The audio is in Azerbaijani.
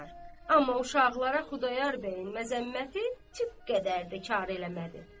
Amma uşaqlara Xudayar bəyin məzəmməti zərrə qədər də kar eləmədi.